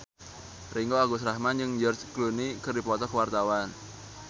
Ringgo Agus Rahman jeung George Clooney keur dipoto ku wartawan